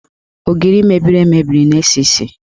Ogiri mebiri emebi na-esi isi.